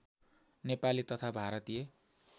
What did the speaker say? नेपाली तथा भारतीय